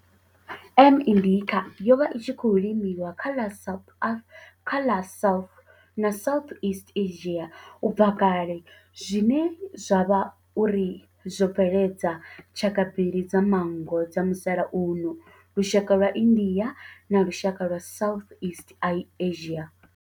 M. indica yo vha i tshi khou limiwa kha ḽa South na Southeast Asia ubva kale zwine zwa vha uri zwo bveledza tshaka mbili dza manngo dza musalauno, lushaka lwa India na lushaka lwa Southeast Asia.